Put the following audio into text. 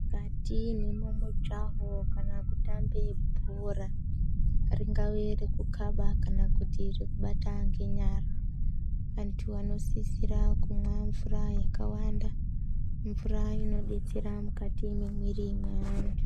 Mukati mwemumujaho kana kutambe bhora, ringave rekukaba kana kuti rekubata ngenyara, vantu vanosisira kumwa mvura yakawanda. Mvura inodetsera mukati memwiri mweantu.